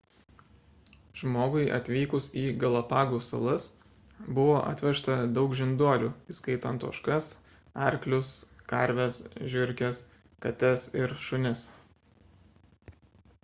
žmogui atvykus į galapagų salas buvo atvežta daug žinduolių įskaitant ožkas arklius karves žiurkes kates ir šunis